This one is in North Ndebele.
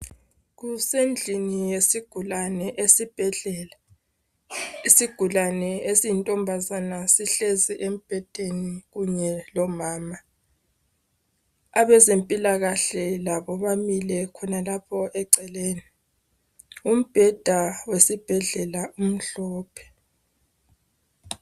Kusendlini yesigulane esibhedlela. Isigulane esiyintombazana sihlezi embhedeni kunye lomama. Abezempilakahle labo bamile khonalapho eceleni. Umbheda wesibhedlela umhlophe.